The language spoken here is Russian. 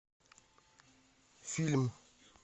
фильм